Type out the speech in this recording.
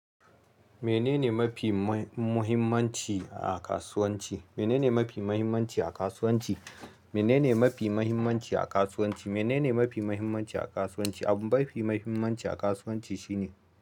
Menene mafi ma muhimmanci a kasuwanci? Menene mafi mahimmanci a kasuwanci? Menene mafi muhimmanci a kasuwanci? Menene mafi mahimmanci a kasuwanci? Abun bafi mahimmanci a kasuwanci shine.